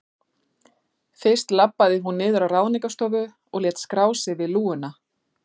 Fyrst labbaði hún niður á Ráðningarstofu og lét skrá sig við lúguna.